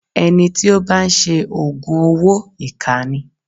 Ẹni tí ó bá ń ṣe Ògùn owó ìkà ni.